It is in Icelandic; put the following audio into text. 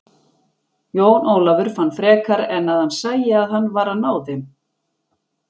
Jón Ólafur fann frekar en að hann sæi að han nvar að ná þeim.